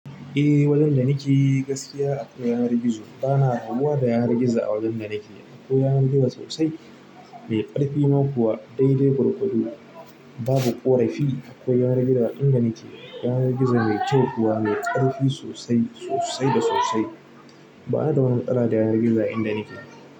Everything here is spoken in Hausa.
Eh, wajen da nike gaskiya akwai yanar gizo. Bana rabuwa da yanar gizo a wajen da nake. Akwai yanar gizo sosai, mai ƙarfi ma kuwa, daidai gwargwado, babu ƙorafi. Akwai yanar gizo a inda ni ke. Yanar gizo mai kyau kuwa, mai ƙarfi sosai, sosai da sosai. Bani da wani matsala da yanar gizo, a inda nike.